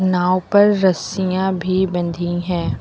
नाव पर रस्सियां भी बंधी हैं।